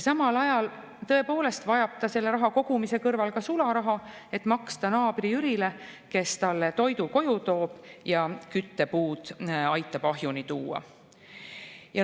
Samal ajal vajab ta selle raha kogumise kõrval tõepoolest ka sularaha, et maksta naabri-Jürile, kes talle toidu koju toob ja küttepuud aitab ahju juurde tuua.